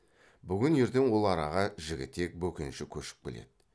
бүгін ертең ол араға жігітек бөкенші көшіп келеді